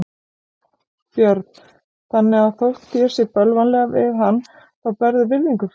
Björn: Þannig að þótt þér sé bölvanlega við hann þá berðu virðingu fyrir honum?